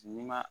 N'i ma